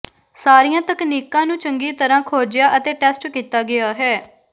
ਸਾਰੀਆਂ ਤਕਨੀਕਾਂ ਨੂੰ ਚੰਗੀ ਤਰ੍ਹਾਂ ਖੋਜਿਆ ਅਤੇ ਟੈਸਟ ਕੀਤਾ ਗਿਆ ਹੈ